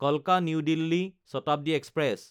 Kalka new Delhi Shatabdi express